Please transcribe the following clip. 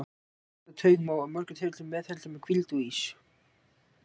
Klemmda taug má í mörgum tilfellum meðhöndla með hvíld og ís.